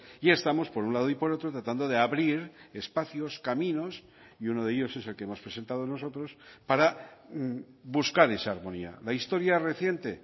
y estamos por un lado y por otro tratando de abrir espacios caminos y uno de ellos es el que hemos presentado nosotros para buscar esa armonía la historia reciente